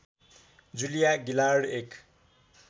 जुलिया गिलार्ड एक